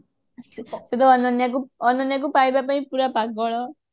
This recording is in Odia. ସେ ତ ଅନନ୍ୟା ଅନନ୍ୟାକୁ ପାଇବା ପାଇଁ ପୁରା ପାଗଳ